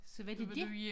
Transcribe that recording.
Så var det dét